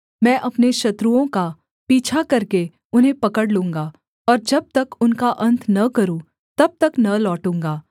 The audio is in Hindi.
मैं अपने शत्रुओं का पीछा करके उन्हें पकड़ लूँगा और जब तब उनका अन्त न करूँ तब तक न लौटूँगा